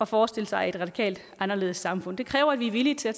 forestille sig et radikalt anderledes samfund det kræver at vi er villige til at